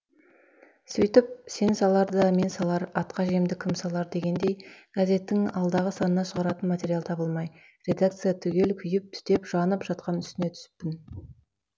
сөйтіп сен салар да мен салар атқа жемді кім салар дегендей газеттің алдағы санына шығаратын материал табылмай редакция түгел күйіп түтеп жанып жатқан үстіне түсіппін